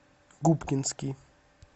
губкинский